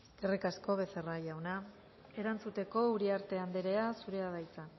eskerrik asko becerra jauna erantzuteko uriarte andrea zurea da hitza